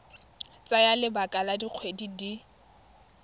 tsaya lebaka la dikgwedi di